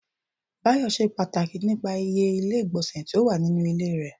Bayọ ṣe pàtàkì nípa ìyè ilé igbonse tí ó wà nínú ilé rẹ